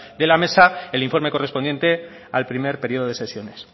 de la mesa el informe correspondiente al primer periodo de sesiones